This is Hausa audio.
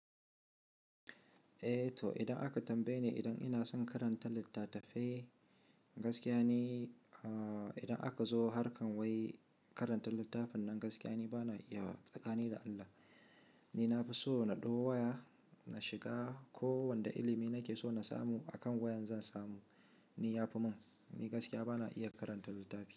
Eh to idan aka tambaye ni idan ina son karanta littatafai gaskiya ni, ah idan aka zo harkan wai karanta littafin nan gaskiya ni bana iya wa. Tsakani da Allah, ni na fi so na ɗau waya na shiga ko wanda ilimi nake so na samu a kan wayan zan samu, ni ya fi mun. Ni gaskiya bana iya karanta littafi.